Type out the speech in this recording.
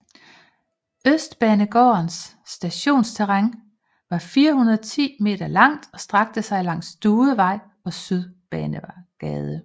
Østbanegårdens stationsterræn var 410 m langt og strakte sig langs Duevej og Sydbanegade